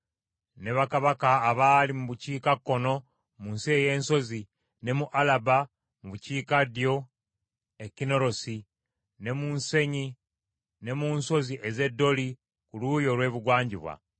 ne bakabaka abaali mu bukiikakkono mu nsi ey’ensozi, ne mu Alaba mu bukiikaddyo e Kinnerosi, ne mu nsenyi, ne mu nsozi ez’e Doli ku luuyi olw’ebugwanjuba.